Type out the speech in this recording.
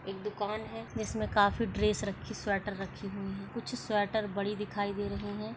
एक दुकान है इसमें काफी ड्रेस रखी स्वेटर रखी हुई है कुछ स्वेटर बड़ी दिखाई दे रही हैं ।